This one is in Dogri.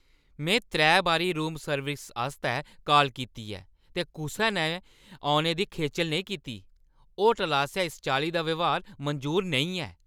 में त्रै बारी रूम सर्विस आस्तै काल कीती ऐ, ते कुसै ने औने दी खेचल नेईं कीती! होटलै आसेआ इस चाल्ली दा ब्यहार मंजूर नेईं ऐ।